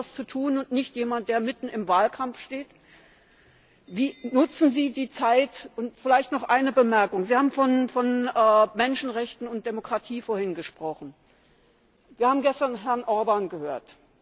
Wir haben das zu tun und nicht jemand der mitten im Wahlkampf steht. Wie nutzen Sie die Zeit? Und vielleicht noch eine Bemerkung Sie haben vorhin von Menschenrechten und Demokratie gesprochen. Wir haben gestern Herrn Orbán gehört.